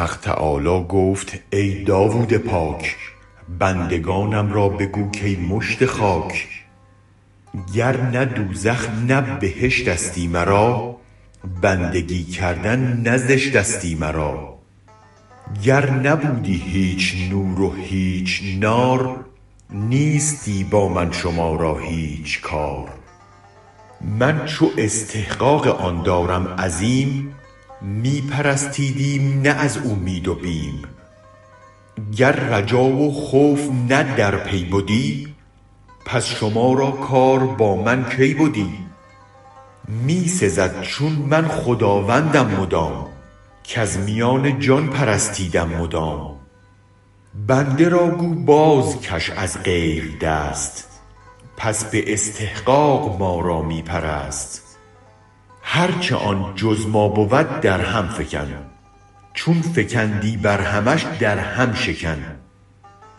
حق تعالی گفت ای داود پاک بندگانم را بگو کای مشت خاک گرنه دوزخ نه بهشتستی مرا بندگی کردن نه زشتستی مرا گر نبودی هیچ نور و هیچ نار نیستی با من شما را هیچ کار من چو استحقاق آن دارم عظیم می پرستیدیم نه از اومید و بیم گر رجا و خوف نه در پی بدی پس شما را کار با من کی بدی می سزد چون من خداوندم مدام کز میان جان پرستیدم مدام بنده را گو بازکش از غیر دست پس به استحقاق ما را می پرست هرچ آن جز ما بود در هم فکن چون فکندی بر همش در هم شکن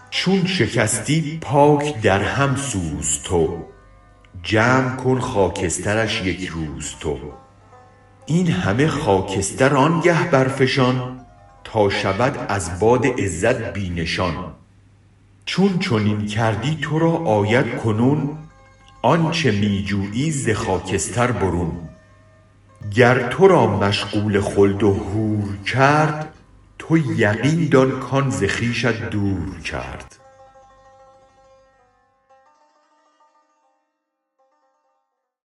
چون شکستی پاک در هم سوز تو جمع کن خاکسترش یک روز تو این همه خاکستر آنگه برفشان تا شود از باد عزت بی نشان چون چنین کردی ترا آید کنون آنچ می جویی ز خاکستر برون گر ترا مشغول خلد و حور کرد تو یقین دان کان ز خویشت دور کرد